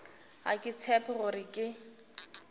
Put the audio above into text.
ga ke tshepe gore ke